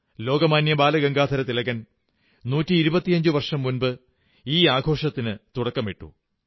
ലോകമാന്യ ബാലഗംഗാധര തിലകൻ 125 വർഷം മുമ്പ് ഈ ആഘോഷത്തിനു തുടക്കമിട്ടു